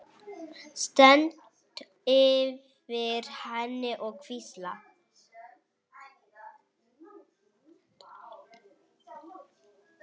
Stend yfir henni og hvísla.